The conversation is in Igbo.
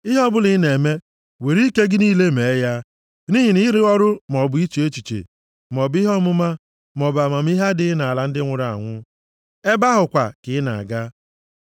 Ihe ọbụla ị na-eme, were ike gị niile mee ya, nʼihi na ịrụ ọrụ maọbụ iche echiche, maọbụ ihe ọmụma, maọbụ amamihe adịghị nʼala ndị nwụrụ anwụ. Ebe ahụ kwa ka ị na-aga.